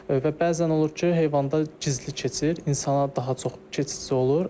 Və bəzən olur ki, heyvanda gizli keçir, insana daha çox keçici olur.